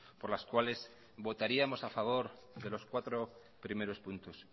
por las cuales votaríamos a favor de los cuatro primeros puntos